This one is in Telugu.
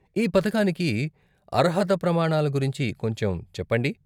ఈ పథకానికి అర్హత ప్రమాణాల గురించి కొంచెం చెప్పండి.